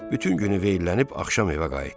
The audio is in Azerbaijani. Bütün günü veyillənib axşam evə qayıtdı.